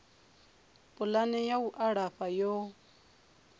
pulani ya u alafha yo